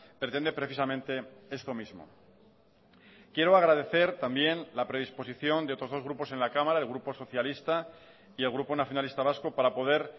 pretende precisamente esto mismo quiero agradecer también la predisposición de otros dos grupos en la cámara el grupo socialista y el grupo nacionalista vasco para poder